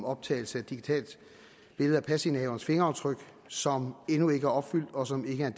optagelse af et digitalt billede af pasindehaverens fingeraftryk som endnu ikke er opfyldt og som ikke er